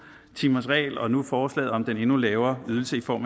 timersregel og nu forslaget om den endnu lavere ydelse i form